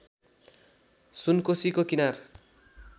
सुनकोसीको किनार